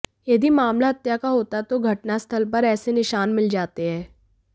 यदि मामला हत्या का होता तो घटनास्थल पर ऐसे निशान मिल जाते हैं